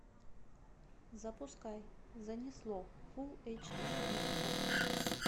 запускай занесло фул эйч ди окко